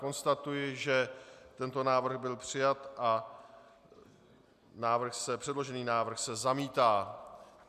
Konstatuji, že tento návrh byl přijat a předložený návrh se zamítá.